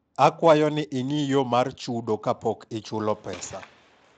akwayo ni ing'i yo mar chudo ka pok ichulo pesa